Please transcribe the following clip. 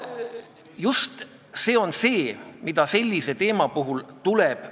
Näiteks jäävad kaitsmata väikeettevõtjad, kelle jaoks on probleemiks eesti keele kursuste vähesus ja nende pikad järjekorrad.